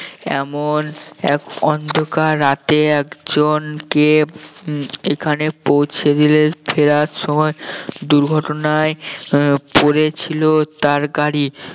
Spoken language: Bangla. এমন এক অন্ধকার রাতে একজনকে এখানে পৌঁছে দিলেন ফেরার সময় দুর্ঘটনায় আহ পড়েছিল তার গাড়ি